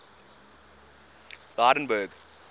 lydenburg